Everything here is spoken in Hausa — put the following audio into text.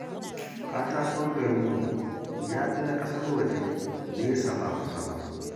Katakon garinmu ya fi na ƙasar waje nesa ba kusa ba